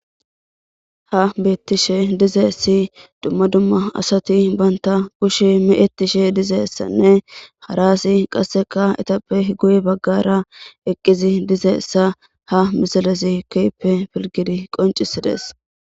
Ha beetishe dizayssi dumma dumma asati banta kushe me'etishe dizayssanne hara asey qasseka eetappe guye bagaara eqqidi dizayssa ha misilezi kehippe pilgidi qoncisides.